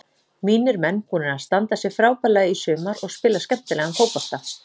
Mínir menn búnir að standa sig frábærlega í sumar og spila skemmtilegan fótbolta.